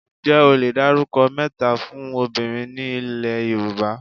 Ǹjẹ́ o le dárúkọ mẹ́ta fún obìnrin ni ilé Yorùbá?